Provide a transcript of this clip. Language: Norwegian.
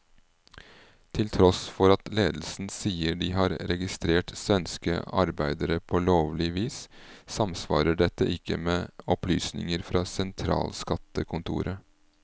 Til tross for at ledelsen sier de har registrert svenske arbeidere på lovlig vis, samsvarer dette ikke med opplysninger fra sentralskattekontoret.